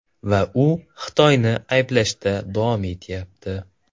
Va u Xitoyni ayblashda davom etyapti.